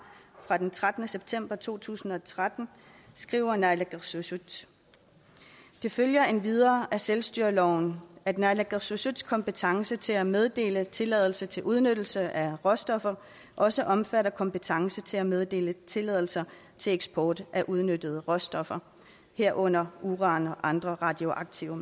fra den trettende september to tusind og tretten skriver naalakkersuisut det følger endvidere af selvstyreloven at naalakkersuisuts kompetence til at meddele tilladelse til udnyttelse af råstoffer også omfatter kompetence til at meddele tilladelser til eksport af udnyttede råstoffer herunder uran og andre radioaktive